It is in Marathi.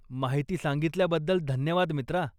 माहिती सांगितल्याबद्दल धन्यवाद, मित्रा.